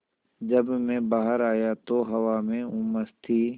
जब मैं बाहर आया तो हवा में उमस थी